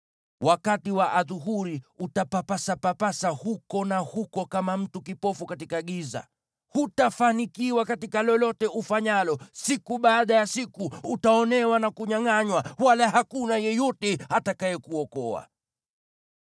Wakati wa adhuhuri utapapasapapasa huku na huko kama mtu kipofu katika giza. Hutafanikiwa katika lolote ufanyalo; siku baada ya siku utaonewa na kunyangʼanywa, wala hakuna yeyote atakayekuokoa.